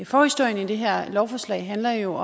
forhistorien til det her lovforslag handler jo